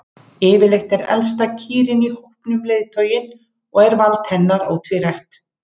Yfirleitt er elsta kýrin í hópnum leiðtoginn og er vald hennar ótvírætt.